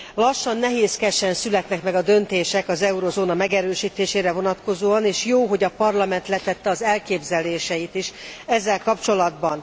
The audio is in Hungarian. Lassan, nehézkesen születnek meg a döntések az eurózóna megerősítésére vonatkozóan és jó, hogy a Parlament letette az elképzeléseit is ezzel kapcsolatban.